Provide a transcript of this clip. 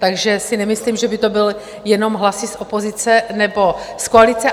Takže si nemyslím, že by to byly jenom hlasy z opozice nebo z koalice.